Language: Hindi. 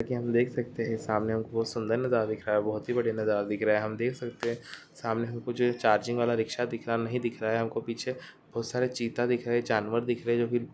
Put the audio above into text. यहा पे हम देख सकते है सामने हम को बहुत सुंदर नज़ारा दिख रहा है बहुत ही बढ़िया नज़ारा दिख रहा है हम देख सकते है सामने हमे कुछ चार्जिंग वाला रिक्शा दिख रहा नहीं दिख रहा हम को पीछे बहुत सारे चीता दिख रहे है जानवर दिख रहे है।